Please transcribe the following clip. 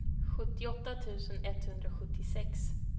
sjuttioåtta tusen etthundrasjuttiosex